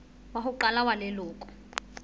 wa ho qala wa leloko